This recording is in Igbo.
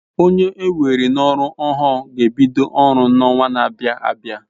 Onye enwere n'oru ohu g'ebido oru n'owa n'abia abia